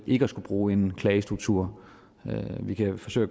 ikke skal bruge en klagestruktur vi kan forsøge